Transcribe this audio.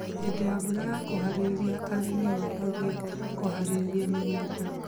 Hĩndĩ ya mbura yakuhĩrĩria arĩmi mambagia kũharĩria mĩgunda